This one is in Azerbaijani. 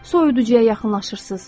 Soyuducuya yaxınlaşırsız.